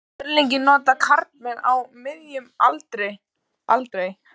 Smjörlíki nota karlmenn á miðjum aldri aldrei.